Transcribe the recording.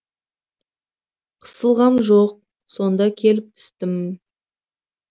қысылғам жоқ сонда келіп түстім